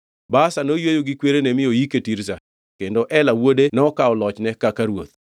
Baasha noyweyo gi kwerene mi noyike Tirza. Kendo Ela wuode nokawo lochne kaka ruoth.